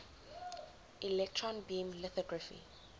electron beam lithography